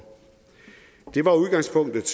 det var udgangspunktet